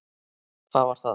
Hvað var það?